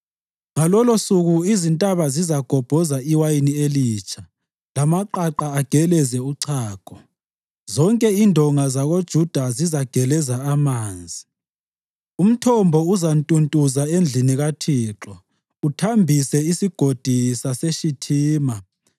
Ngalolosuku izintaba zizagobhoza iwayini elitsha, lamaqaqa ageleze uchago; zonke indonga zakoJuda zizageleza amanzi. Umthombo uzantuntuza endlini kaThixo uthambise isigodi saseShithima.